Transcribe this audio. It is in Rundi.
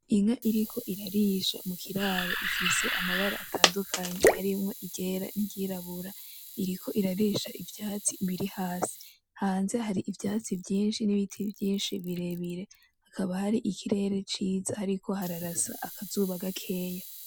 Inka iriko irarisha mukiraro ifise amabara atandukanye harimwo iryera niry'irabura iriko irarisha ivyatsi biri hasi hanze hariho ivyatsi vyinshi n'ibiti vyinshi birebire hakaba hari ikirere ciza hariko hararasa akazuba gakeya.